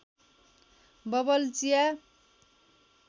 bubble चिया